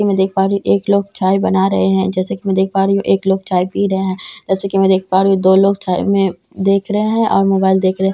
की मैं देख पा रही हूँ एक लोग चाय बना रहे है जैसा की मैं देख पा रही हूँ एक लोग चाय पी रहे है जैसा की मैं देख पा रही हूँ दो लोग चाय में देख रहे है और मोबाइल देख रहे है जैसा की मैं देख --